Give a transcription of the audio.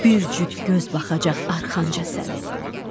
Bir cüt göz baxacaq arxanca sənin.